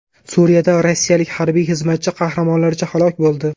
Suriyada rossiyalik harbiy xizmatchi qahramonlarcha halok bo‘ldi.